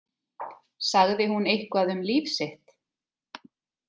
Sagði hún eitthvað um líf sitt?